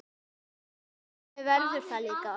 Þannig verður það líka.